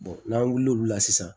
n'an wulila olu la sisan